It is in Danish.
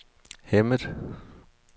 Hemmet